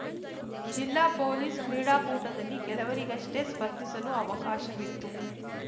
ಜಿಲ್ಲಾ ಪೊಲೀಸ್‌ ಕ್ರೀಡಾಕೂಟದಲ್ಲಿ ಕೆಲವರಿಗಷ್ಟೇ ಸ್ಪರ್ಧಿಸಲು ಅವಕಾಶವಿತ್ತು